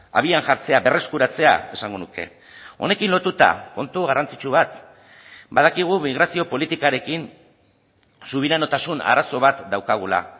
abian jartzea berreskuratzea esango nuke honekin lotuta kontu garrantzitsu bat badakigu migrazio politikarekin subiranotasun arazo bat daukagula